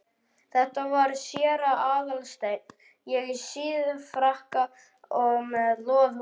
Þetta var séra Aðal steinn, í síðfrakka og með loðhúfu.